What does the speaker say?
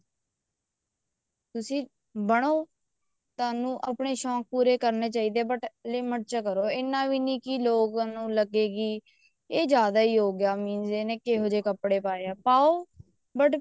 ਤੁਸੀਂ ਬਣੋ ਤੁਹਾਨੂੰ ਆਪਣੇ ਸ਼ੋਂਕ ਪੂਰੇ ਕਰਨੇ ਚਾਹੀਦੇ ਨੇ but limit ਚ ਕਰੋ ਇੰਨਾ ਵੀ ਨੀ ਲੋਕਾਂ ਨੂੰ ਲੱਗੇ ਕੀ ਇਹ ਜਿਆਦਾ ਹੀ ਹੋਗਿਆ means ਇਹਨੇ ਕਿਹੋ ਜਿਹੇ ਕੱਪੜੇ ਪਾਏ ਨੇ ਪਾਓ but